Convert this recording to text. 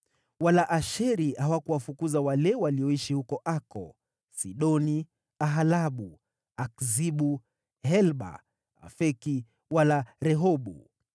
Wala Asheri hawakuwafukuza wale walioishi huko Ako, Sidoni, Alabu, Akzibu, Helba, Afeki wala Rehobu